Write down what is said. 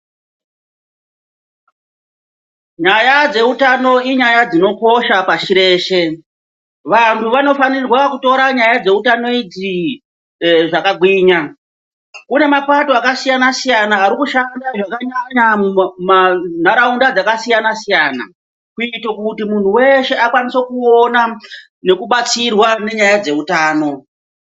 Nyaya dzeutano inyaya dzinokosha pashi reshe. Vantu van8fanirwa kutora nyaya dzeutano idzi zvakagwinya. Kune mapato akasiyana-siyana arikushanda zvakanyanya muntaraunda dzakasiyana-siyana kuito kuti munhu weshe akwanise kuona nekubatsirwa nenyaya dzeutano.